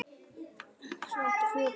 Þau áttu fjögur börn